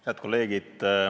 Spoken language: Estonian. Head kolleegid!